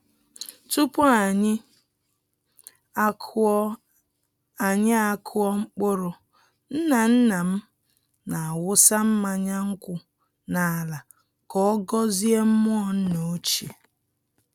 Tupu anyi akụọ anyi akụọ mkpụrụ, nna-nna m na-awụsa mmanya nkwụ n’ala ka ọ gọzie mmụọ nna ochie.